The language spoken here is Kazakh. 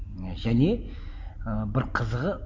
және ы бір қызығы